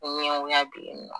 Ko ɲɛn goya be ye nɔ